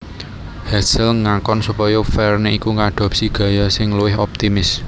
Hetzel ngakon supaya Verne iku ngadopsi gaya sing luwih optimis